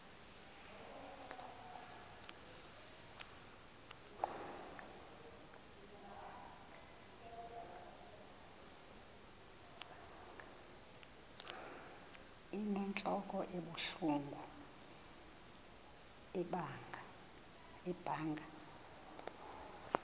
inentlok ebuhlungu ibanga